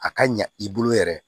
A ka ɲa i bolo yɛrɛ